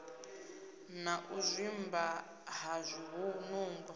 na u zwimba ha zwinungo